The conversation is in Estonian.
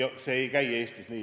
See ei käi Eestis nii.